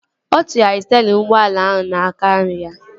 Ọ tụgharịrị sterịn ụgbọala ahụ n'aka nri ya